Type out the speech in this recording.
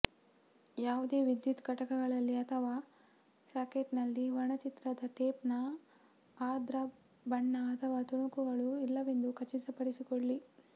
ಯಾವುದೇ ವಿದ್ಯುತ್ ಘಟಕಗಳಲ್ಲಿ ಅಥವಾ ಸಾಕೆಟ್ನಲ್ಲಿ ವರ್ಣಚಿತ್ರದ ಟೇಪ್ನ ಆರ್ದ್ರ ಬಣ್ಣ ಅಥವಾ ತುಣುಕುಗಳು ಇಲ್ಲವೆಂದು ಖಚಿತಪಡಿಸಿಕೊಳ್ಳಿ